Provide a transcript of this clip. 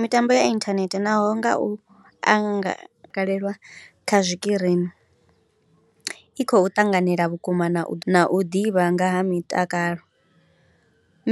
Mitambo ya inthanethe naho nga u angalelwa kha zwikirini i khou ṱanganela vhukuma na u na u ḓivha nga ha mitakalo,